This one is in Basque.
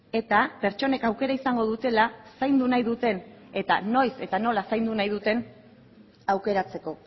eta pertsonek aukera izango dutela zaindu nahi duten eta noiz eta nola zaindu nahi duten aukeratzeko